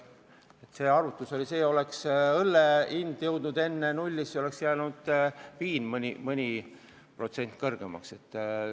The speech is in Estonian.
Oli arutluse all ka variant, et õlle hinna vahe oleks null ja viin oleks meil mõni protsent kallim.